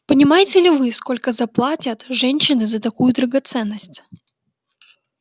понимаете ли вы сколько заплатят женщины за такую драгоценность